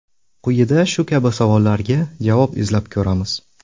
Quyida shu kabi savollarga javob izlab ko‘ramiz.